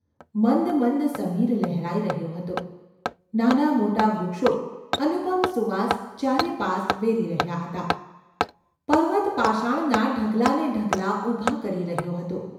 મંદ મંદ સમીર લહેરાઈ રહ્યો હતો નાનાંમોટાં વૃક્ષો અનુપમ સુવાસ ચારે પાસ વેરી રહ્યાં હતાં; પર્વત પાષાણના ઢગલા ને ઢગલા ઊભા કરી રહ્યો હતો.